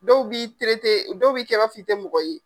Dɔw b'i dɔw b'i kɛ i b'a fɔ i tɛ mɔgɔ ye.